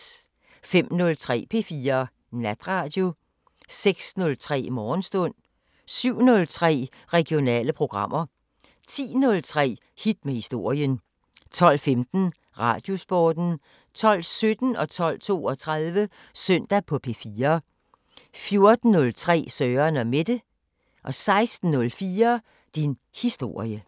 05:03: P4 Natradio 06:03: Morgenstund 07:03: Regionale programmer 10:03: Hit med historien 12:15: Radiosporten 12:17: Søndag på P4 12:32: Søndag på P4 14:03: Søren & Mette 16:04: Din historie